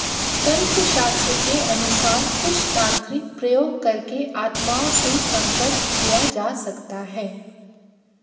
तंत्र शास्त्र के अनुसार कुछ तांत्रिक प्रयोग करके आत्माओं से संपर्क किया जा सकता है